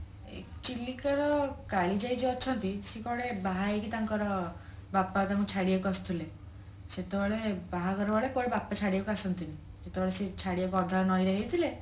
ଚିଲିକା କାଳିଜାଇ ଯୋଉ ଅଛନ୍ତି ସେ କୁଆଡେ ବାହା ହେଇକି ତାଙ୍କର ବାପା ତାଙ୍କୁ ଛାଡିବାକୁ ଆସୁଥିଲେ ସେତେବେଳ ବାହାଘର ବେଳେ କୁଆଡେ ବାପା ଛାଡିବାକୁ ଆସନ୍ତିନୀ ଯେତେବେଳେ ସେ ଛାଡିବାକୁ ଅଧା ନଈ ରେ ହେଇଥିଲେ